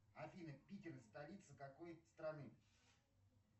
афина питер столица какой страны